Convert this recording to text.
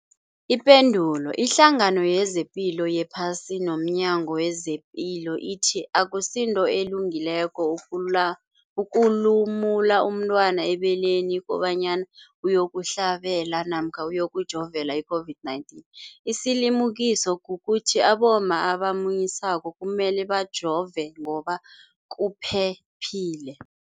Ipendulo, iHlangano yezePilo yePhasi nomNyango wezePilo ithi akusinto elungileko ukulumula umntwana ebeleni kobanyana uyokuhlabela namkha uyokujovela i-COVID-19. Isilimukiso kukuthi abomma abamunyisako kumele bajove ngoba kuphephile.